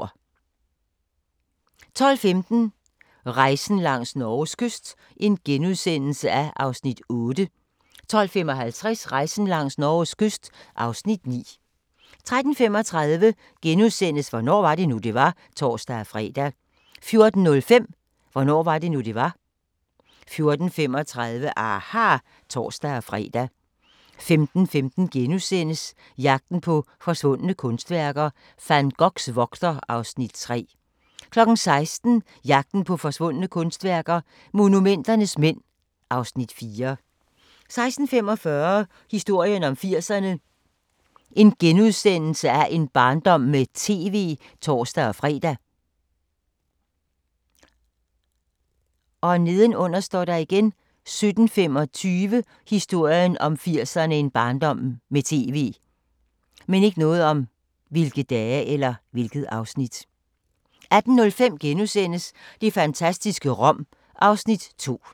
12:15: Rejsen langs Norges kyst (8:10)* 12:55: Rejsen langs Norges kyst (9:10) 13:35: Hvornår var det nu, det var? *(tor-fre) 14:05: Hvornår var det nu, det var? 14:35: aHA! (tor-fre) 15:15: Jagten på forsvundne kunstværker - Van Goghs vogter (Afs. 3)* 16:00: Jagten på forsvundne kunstværker – Monumenternes mænd (Afs. 4) 16:45: Historien om 80'erne: En barndom med TV *(tor-fre) 17:25: Historien om 80'erne: En barndom med TV 18:05: Det fantastiske Rom (Afs. 2)*